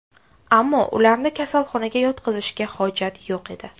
Ammo ularni kasalxonaga yotqizishga hojat yo‘q edi.